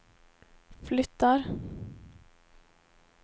flyttar